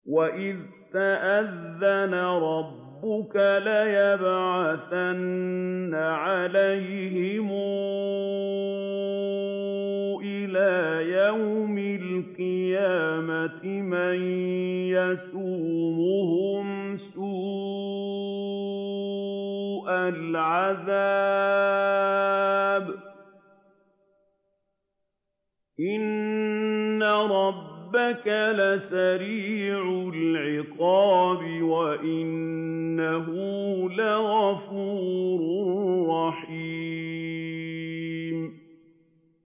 وَإِذْ تَأَذَّنَ رَبُّكَ لَيَبْعَثَنَّ عَلَيْهِمْ إِلَىٰ يَوْمِ الْقِيَامَةِ مَن يَسُومُهُمْ سُوءَ الْعَذَابِ ۗ إِنَّ رَبَّكَ لَسَرِيعُ الْعِقَابِ ۖ وَإِنَّهُ لَغَفُورٌ رَّحِيمٌ